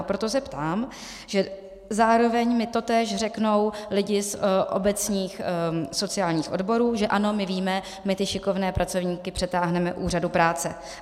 A proto se ptám, že zároveň mi totéž řeknou lidé z obecních sociálních odborů, že ano, my víme, my ty šikovné pracovníky přetáhneme úřadu práce.